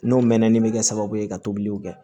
N'o mɛnni bɛ kɛ sababu ye ka tobiliw kɛ